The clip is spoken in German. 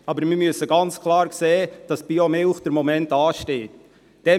Aber uns muss klar sein, dass Biomilch im Moment nicht abgesetzt werden kann.